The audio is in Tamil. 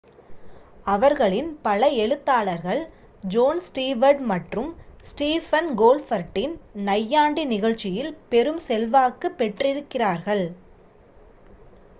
அவர்களின் பல எழுத்தாளர்கள் ஜோன் ஸ்டீவர்ட் மற்றும் ஸ்டிஃபன் கோல்பர்ட்டின் நையாண்டி நிகழ்ச்சியில் பெரும் செல்வாக்கு பெற்றிருக்கிறார்கள்